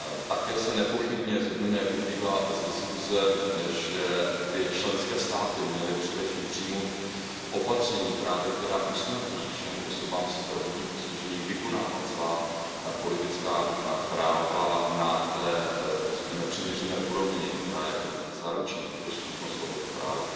Také se nepochybně shodneme, jak vyplývá z diskuze, že by členské státy měly především přijmout opatření, která usnadní všem osobám se zdravotním postižením vykonávat svá politická práva na té, řekněme, přiměřené úrovni, která zaručí tu dostupnost tohoto práva.